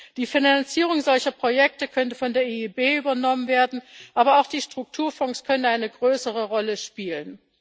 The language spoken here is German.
Die Finanzierung solcher Projekte könnte von der EIB übernommen werden, aber auch die Strukturfonds können eine größere Rolle spielen.